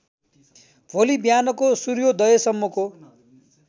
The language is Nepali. भोलि बिहानको सूर्योदयसम्मको